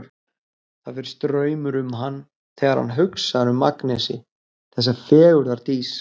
Það fer straumur um hann þegar hann hugsar um Agnesi, þessa fegurðardís.